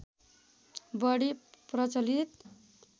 बढी प्रचलित